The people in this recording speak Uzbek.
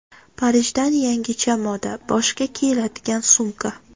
Parijdan yangicha moda: boshga kiyiladigan sumka .